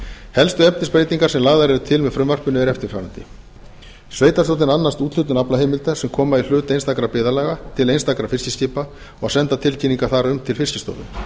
helstu breytingar sem lagðar eru til að gerðar verði á greininni með frumvarpinu eru eftirfarandi sveitarstjórnir annast úthlutun aflaheimilda sem koma í hlut einstakra byggðarlaga til einstakra fiskiskipa og senda tilkynningar þar um til fiskistofu